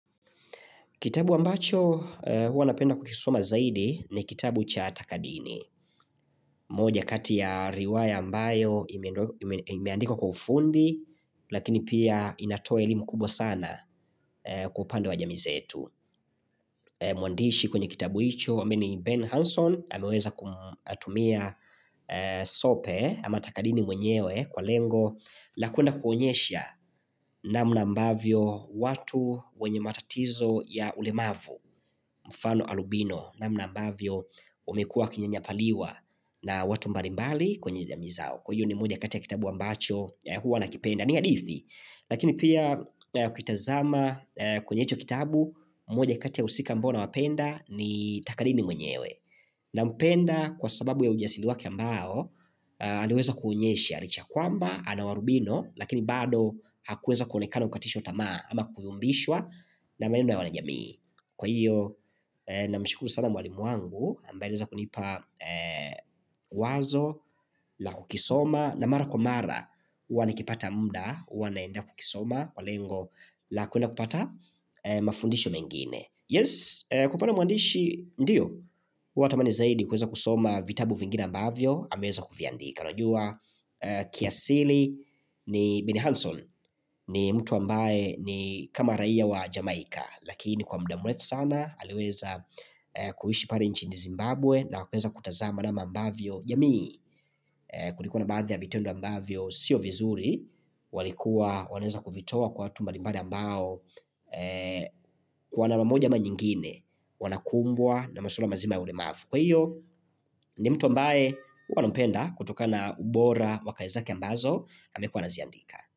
Kitabu ambacho huwa napenda kukisoma zaidi ni kitabu cha takadini. Moja kati ya riwaya ambayo imeandikwa kwa ufundi lakini pia inatoela elimu kubwa sana kwa upande wa jamii zetu. Mwandishi kwenye kitabu hicho, ambaye ni Ben Hanson, ameweza kumtumia sope ama takadini mwenyewe kwa lengo la kwenda kuonyesha namna ambavyo watu wenye matatizo ya ulemavu mfano alubino namna ambavyo wamekua wakinyanyapaliwa na watu mbalimbali kwenye jamii zao Kwa hio ni moja kati ya kitabu ambacho ya huwa nakipenda ni hadithi Lakini pia kuitazama kwenye jicho kitabu moja kata ya wahusika ambao nawapenda ni takadini mwenyewe Nampenda kwa sababu ya ujasili wake ambao aliweza kuonyesha licha ya kwamba, ana warubino lakini bado hakuweza kuonekana kukatishwa tama ama kuyumbishwa na mienendo ya wanajamii kwa hiyo na mshukuru sana mwalimu wangu ambaye aliweza kunipa wazo la kukisoma na mara kwa mara huwa nikipata muda, huwa naenda kukisoma, kwa lengo la kuenda kupata mafundisho mengine yes, kupata mwandishi ndiyo, huwa tamani zaidi kuweza kusoma vitabu vingine ambavyo ameweza kuviandika unajua kiasili ni Bini Hanson ni mtu ambaye ni kama raiya wa Jamaika Lakini kwa muda mrefu sana aliweza kuishi pale nchini Zimbabwe na kuweza kutazama namna ambavyo jamii kulikuwa na baadhi ya vitendo ambavyo sio vizuri walikuwa wanaweza kuvitoa kwa watu mbalimbali ambao kwa namna moja ama nyingine Wanakumbwa na masuala mazima ya ulemavu. Kwa hiyo ni mtu ambaye huwa nampenda kutokana ubora wakazi zake ambazo amekuwa akiziandika.